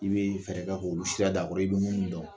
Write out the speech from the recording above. I bɛ fɛɛrɛ k'o i bɛ minnu dɔn